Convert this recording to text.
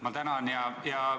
Ma tänan!